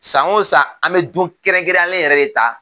San o san an bɛ don kɛrɛnkɛrɛnyalen yɛrɛ de ta